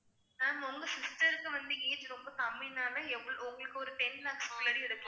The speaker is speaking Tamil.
ma'am உங்க sister க்கு வந்து age ரொம்ப கம்மினால உங்களுக்கு ஒரு ten lakhs எடுக்கலாம்